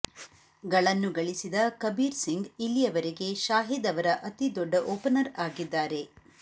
ಗಳನ್ನು ಗಳಿಸಿದ ಕಬೀರ್ ಸಿಂಗ್ ಇಲ್ಲಿಯವರೆಗೆ ಶಾಹಿದ್ ಅವರ ಅತಿದೊಡ್ಡ ಓಪನರ್ ಆಗಿದ್ದಾರೆ